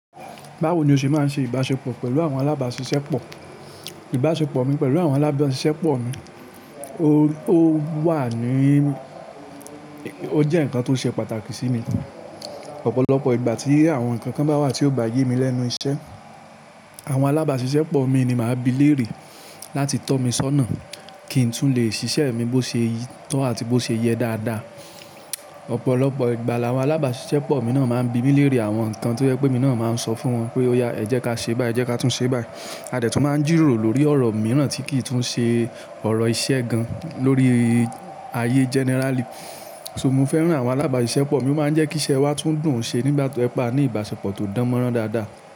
Báwo ni o ṣe máa ń ṣe ìbáṣepọ̀ pẹ̀lú àwọn alábàáṣiṣẹ́ pọ̀? Ìbáṣepọ̀ mi pẹ̀lú àwọn alábáṣiṣẹ́ pọ̀ mi, ó wà ní, ó jẹ́ ǹkan tó ṣe pàtàkì sí mi. Ọ̀pọ̀lọpọ̀ ìgbà tí àwọn ǹkan kan bá wà tí ó bá yé mi lẹ́nu iṣẹ́, àwọn alábàáṣiṣẹ́ pọ̀ mi ni màá bi lérè láti tọ́ mi sọ́nà kí n tún lè ṣiṣẹ́ mi bó ṣe tọ́ àti bó ṣe yẹ dáadáa. Ọ̀pọ̀lọpọ̀ ìgbà làwọn alábàáṣiṣẹ́ pọ̀ mi náà máa ń bi mi lérè àwọn ǹkan tí ó jẹ́ pé mi náà máa ń sọ fún wọn pé ó yá, ẹ jẹ́ ká ṣe báyìí, ẹ jẹ́ ká tún ṣe báyìí. A dẹ̀ tún máa ń jìròrò lórí ọ̀rọ̀ mìíràn tí kì í tún ṣe ọ̀rọ̀ iṣẹ́ gan lórí ayé generally. So mo fẹ́ràn àwọn alábàáṣiṣẹ́ pọ̀ mi, ó máa ń jẹ́ kí iṣẹ́ wa tún dùn ṣe nígbà tí ó jẹ́ pa ní ìbáṣepọ̀ tó dánmọ́rán dáadáa.